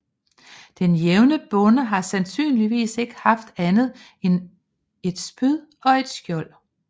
Den jævne bonde har sandsynligvis ikke haft andet end et spyd og et skjold